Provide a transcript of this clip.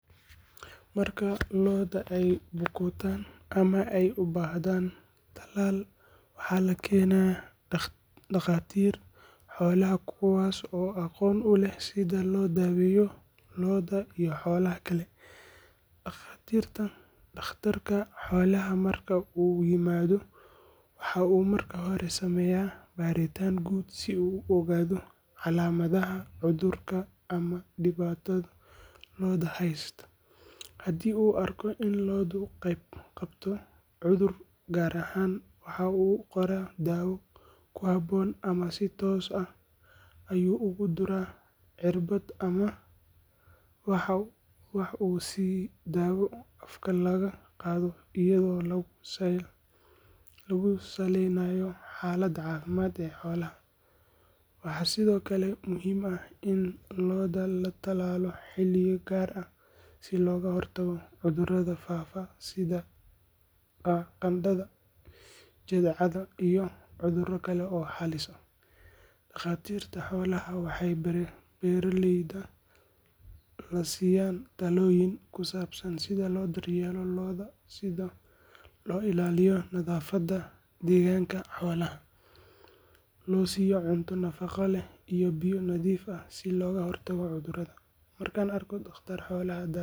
Marka lo’da ay bukootaan ama ay u baahdaan tallaal, waxaa la keenaa dhakhaatiirta xoolaha kuwaas oo aqoon u leh sida loo daweeyo lo’da iyo xoolaha kale. Dhakhtarka xoolaha marka uu yimaado, waxa uu marka hore sameeyaa baaritaan guud si uu u ogaado calaamadaha cudurka ama dhibaatada lo’da heysta. Haddii uu arko in lo'du qabto cudur gaar ah, waxa uu u qoraa daawo ku habboon ama si toos ah ayuu ugu duraa cirbad ama waxa uu siyaa daawo afka laga qaato iyadoo lagu saleynayo xaaladda caafimaad ee xoolaha. Waxaa sidoo kale muhiim ah in lo’da la tallaalo xilliyo gaar ah si looga hortago cudurrada faafa sida qandhada, jadeecada iyo cudurro kale oo halis ah. Dhakhaatiirta xoolaha waxay beeraleyda la siiyaan talooyin ku saabsan sida loo daryeelo lo’da, sida loo ilaaliyo nadaafadda deegaanka xoolaha, loo siiyo cunto nafaqo leh iyo biyo nadiif ah si looga hortago cudurrada. Markaan arko dhakhtar xoolo daweynay.